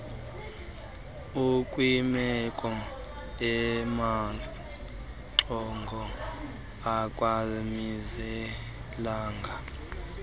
ukwimeko emaxongo akazimiselanga